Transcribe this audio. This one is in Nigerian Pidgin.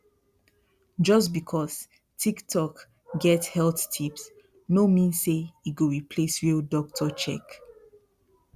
just because tiktok get health tips no mean say e go replace real doctor check